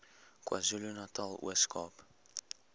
kwazulunatal ooskaap